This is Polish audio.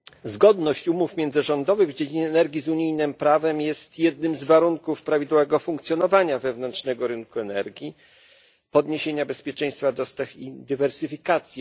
Zgodność umów międzyrządowych w dziedzinie energii z unijnym prawem jest jednym z warunków prawidłowego funkcjonowania wewnętrznego rynku energii, podniesienia bezpieczeństwa dostaw i dywersyfikacji.